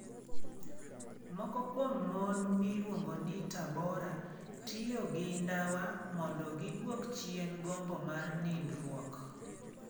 Moko kuom mon miluongo ni Tabora tiyo gi ndawa mondo giduok chien gombo mar nindruok